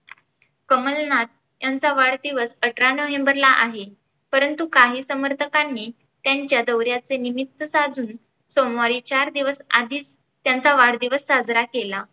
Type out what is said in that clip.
कमलनाथ यांचा वाढदिवस अठरा नवंबर ला आहे. परंतु काही समर्थकांनी त्यांच्या दौऱ्याचे निमित्त साधून सोमवारी चार दिवस आधीच त्यांचा वाढदिवस साजरा केला.